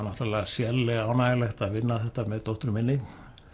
náttúrulega sérlega ánægjulegt að vinna þetta með dóttur minni